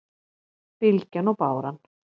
Bylgjan og báran